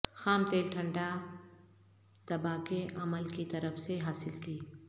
خام تیل ٹھنڈا دبا کے عمل کی طرف سے حاصل کی